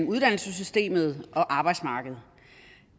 uddannelsessystemet og arbejdsmarkedet